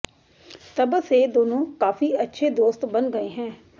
तब से दोनों काफी अच्छे दोस्त बन गए हैं